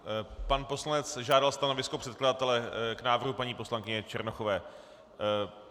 Pan poslanec žádal stanovisko předkladatele k návrhu paní poslankyně Černochové.